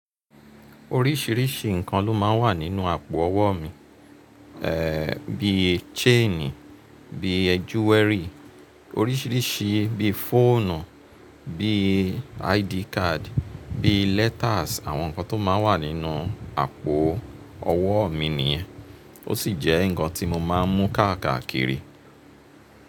Oríṣìíríṣìí ǹkan ló máa ń wà nínú àpò owó mi, ẹ́ bí i chain, bí i jewellery, oríṣìíríṣìí bí i fóònù, bí i ID card, bí i letters àwọn ǹkan tó máa ń wà nínú àpò owó mi nìyẹn, ó sì jẹ́ ǹǹkan tí mo máa ń mú káàkà kiri.